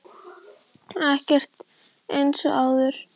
Ekkert er eins og áður.